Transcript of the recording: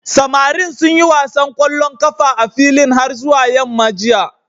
Samarin sun yi wasan ƙwallon ƙafa a filin har zuwa yamma jiya.